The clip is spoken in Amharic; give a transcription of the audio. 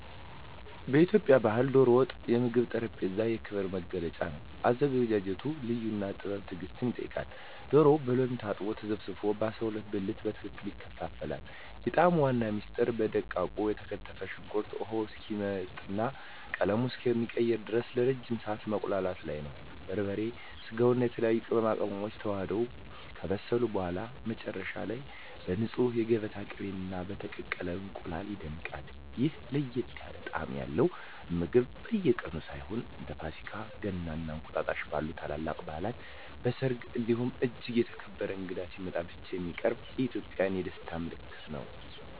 በኢትዮጵያ ባሕል "ዶሮ ወጥ" የምግብ ጠረጴዛ የክብር መገለጫ ነው። አዘገጃጀቱ ልዩ ጥበብና ትዕግስት ይጠይቃል፤ ዶሮው በሎሚ ታጥቦና ተዘፍዝፎ በ12 ብልት በትክክል ይከፋፈላል። የጣዕሙ ዋና ምስጢር በደቃቁ የተከተፈ ሽንኩርት ውሃው እስኪመጥና ቀለሙን እስኪቀይር ለረጅም ሰዓት መቁላላቱ ላይ ነው። በርበሬ፣ ስጋውና የተለያዩ ቅመማ ቅመሞች ተዋህደው ከበሰሉ በኋላ፣ መጨረሻ ላይ በንፁህ የገበታ ቅቤና በተቀቀለ እንቁላል ይደምቃል። ይህ ለየት ያለ ጣዕም ያለው ምግብ በየቀኑ ሳይሆን፣ እንደ ፋሲካ፣ ገና እና እንቁጣጣሽ ባሉ ታላላቅ በዓላት፣ በሰርግ እንዲሁም እጅግ የተከበረ እንግዳ ሲመጣ ብቻ የሚቀርብ የኢትዮጵያውያን የደስታ ምልክት ነው።